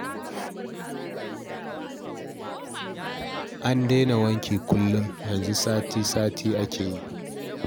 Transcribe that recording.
An daina wankin kullum, yanzu kuma sai sati-sati ake yi